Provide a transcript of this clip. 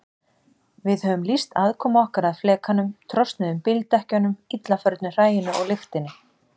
Við höfum lýst aðkomu okkar að flekanum, trosnuðum bíldekkjunum, illa förnu hræinu og lyktinni.